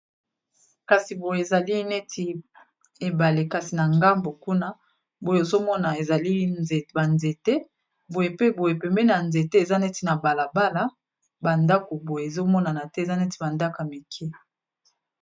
Kasi boye ezali neti ebale kasi na ngambo kuna boye ozomona ezali ba nzete boye pe boye pembeni na nzete eza neti na balabala ba ndako boye ezomonana te eza neti ba ndako ya mike.